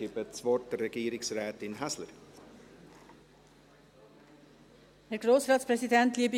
Ich gebe das Wort der Regierungsrätin Häsler.